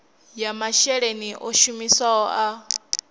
ya masheleni o shumisiwaho a